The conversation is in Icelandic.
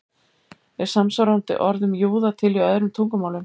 Er samsvarandi orð um júða til í öðrum tungumálum?